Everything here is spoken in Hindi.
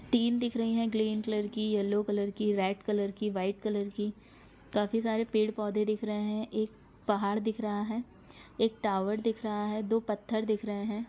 टिन दिख रही है ग्रीन कलर की येल्लो कलर की रेड कलर की वाइट कलर की काफी सारे पेड़ पौधे दिख रहे है एक पहाड़ दिख रहा है एक टावर दिख रहा हैदो पत्थर दिख रहे है।